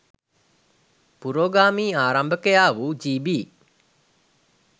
පුරෝගාමී ආරම්භකයා වූ ජී.බී.